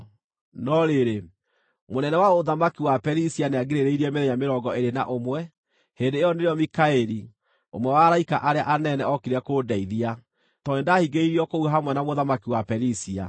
No rĩrĩ, mũnene wa ũthamaki wa Perisia nĩangirĩrĩirie mĩthenya mĩrongo ĩĩrĩ na ũmwe. Hĩndĩ ĩyo nĩrĩo Mikaeli, ũmwe wa araika arĩa anene, okire kũndeithia, tondũ nĩndahingĩrĩirio kũu hamwe na mũthamaki wa Perisia.